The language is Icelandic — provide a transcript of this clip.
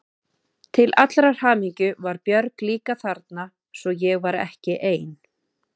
Til allrar hamingju var Björg líka þarna svo ég var ekki ein.